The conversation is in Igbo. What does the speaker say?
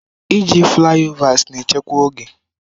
Iji flaịovers na echekwa oge.